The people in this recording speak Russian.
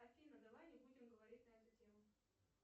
афина давай не будем говорить на эту тему